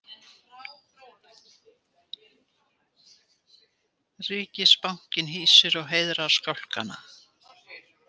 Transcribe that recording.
Ríkisbankinn hýsir og heiðrar skálkana